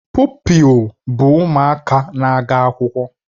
Pụpịl bụ ụmụaka na-aga akwụkwọ